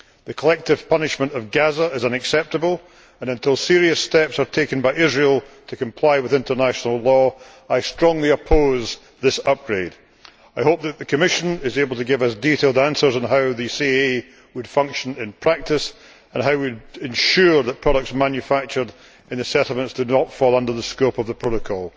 The collective punishment of Gaza is unacceptable and until serious steps are taken by Israel to comply with international law, I strongly oppose this upgrade. I hope that the Commission is able to give detailed answers on how the CAA would function in practice and how we would ensure that products manufactured in the settlements do not fall under the scope of the protocol.